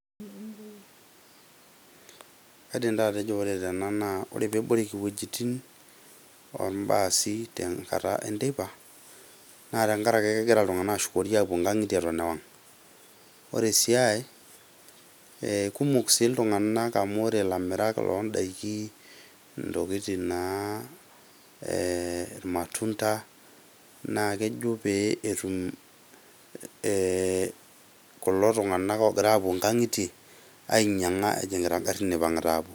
Kaidim taa atejo tena naa ore eboreki ewojotin oo baasi tenkata enteipa naa tengariki naa kegira iltunganak ashukori aapuo enkankitie aton ewang. Ore sii aai ee kumok sii iltunganak amu ore ilamirak loodaiki entokitin naa ilmatunda naa kejo pee etum kulo tunganak oopoito enkankitie ainyianga ejingita aapuo enkankitie.